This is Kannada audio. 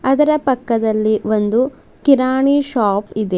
ಅದರ ಪಕ್ಕದಲ್ಲಿ ಒಂದು ಕಿರಾಣಿ ಶಾಪ್ ಇದೆ.